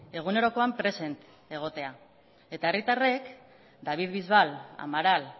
egunerokoan presen egotea eta herritarren david bisbal amaral